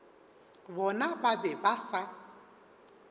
bona ba be ba sa